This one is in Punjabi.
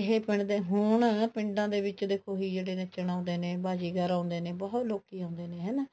ਇਹ ਪਿੰਡ ਹੋਣ ਪਿੰਡਾਂ ਦੇ ਵਿੱਚ ਦੇਖੋ ਹਿਜੜੇ ਨੱਚਣ ਆਉਂਦੇ ਨੇ ਬਾਜੀਗਰ ਆਉਂਦੇ ਨੇ ਬਹੁਤ ਲੋਕੀ ਆਉਂਦੇ ਨੇ ਹਨਾ